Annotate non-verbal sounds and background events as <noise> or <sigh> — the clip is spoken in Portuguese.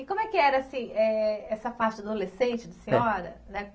E como é que era, assim, eh, essa parte adolescente da senhora, né? <unintelligible>